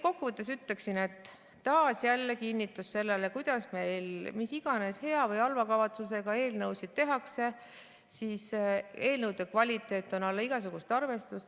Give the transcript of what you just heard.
Kokkuvõtteks ütlen, et see on taas kinnitus sellele, et mis iganes hea või halva kavatsusega meil eelnõusid tehakse, on eelnõude kvaliteet alla igasugust arvestust.